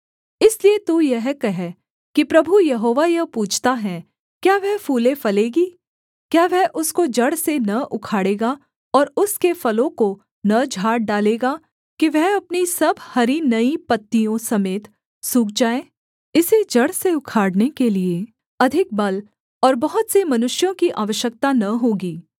इसलिए तू यह कह कि प्रभु यहोवा यह पूछता है क्या वह फूले फलेगी क्या वह उसको जड़ से न उखाड़ेगा और उसके फलों को न झाड़ डालेगा कि वह अपनी सब हरी नई पत्तियों समेत सूख जाए इसे जड़ से उखाड़ने के लिये अधिक बल और बहुत से मनुष्यों की आवश्यकता न होगी